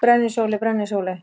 Brennisóley: Brennisóley.